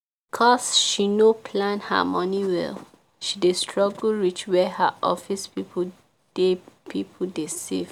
cause she no plan her money well she dey struggle reach where her office people dey people dey save.